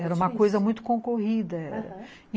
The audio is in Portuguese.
Era uma coisa muito concorrida, aham.